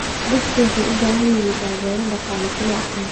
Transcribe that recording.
Dadku waxay u baahan yihiin taageero dhaqaale si loo aqoonsado.